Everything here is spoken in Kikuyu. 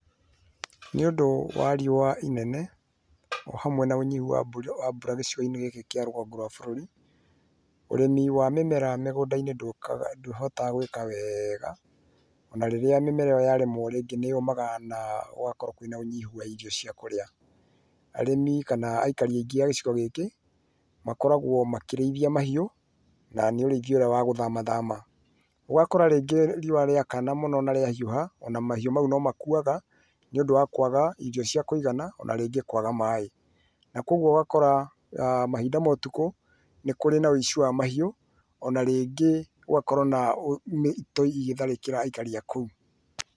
Nĩ ũndũ wa riũa inene hamwe na ũnyinyi wa mbura gicigoinĩ gĩkĩ kĩa rũgongo rũa bũrũri, ũrĩmi wa mĩmera mĩgũndainĩ ndũkaga ndũhotaga gwĩka wega ona rĩrĩa mĩmera ĩyo yaremũo rĩngĩ nĩ yũmaga na gũgakorũo kwĩna ũnyihu wa irio cia kũrĩa. Arĩmi kana aikari aingĩ a gicigo gĩkĩ makoragwo makĩrĩithia mahiũ na nĩ ũrĩithia ũrĩa wa gũthamathama. Ũgakora rĩngĩ riũa rĩakana mũno na rĩa hiũha ona mahiũ mau no makuaga nĩũndũ wa kũaga irio cia kũigana ona rĩngĩ kũaga maĩ. Na kwoguo ũgakora mahinda ma ũtukũ nĩ kũri na ũici wa mahiũ ona rĩngĩ gũgakorũo na mĩito ĩgĩtharĩkĩra aikari a kũu.